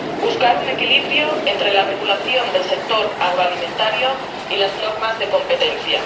buscar un equilibrio entre la regulación del sector agroalimentario y las normas de competencia.